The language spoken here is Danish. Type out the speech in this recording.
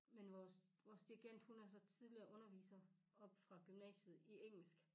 Men vores vores dirigent hun er så tidligere underviser oppe fra gymnasiet i engelsk